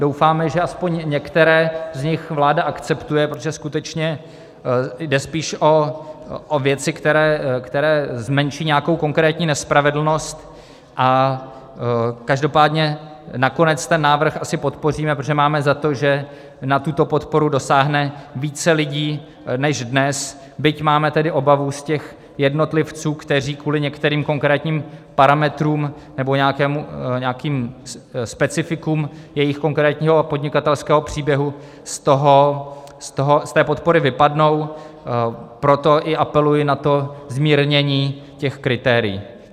Doufáme, že aspoň některé z nich vláda akceptuje, protože skutečně jde spíše o věci, které zmenší nějakou konkrétní nespravedlnost, a každopádně nakonec ten návrh asi podpoříme, protože máme za to, že na tuto podporu dosáhne více lidí než dnes, byť máme tedy obavu z těch jednotlivců, kteří kvůli některým konkrétním parametrům nebo nějakým specifikům svého konkrétního podnikatelského příběhu z té podpory vypadnou, proto i apeluji na to zmírnění těch kritérií.